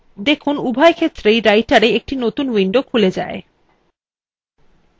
দেখুন উভয় ক্ষেত্রেই writera একটি নতুন window খুলে যায়